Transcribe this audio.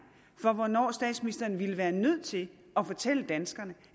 for hvornår statsministeren ville være nødt til at fortælle danskerne